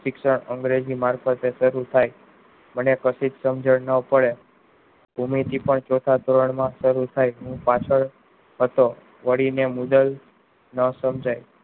શિક્ષા અંગ્રેજી માં શરુ થાય મને પછી સમજણ ના પડે ચૌથા ધોરણ માં સારું થાય હું પાછળ હતો વળી ને મુજબ ના સમ્જ્હાય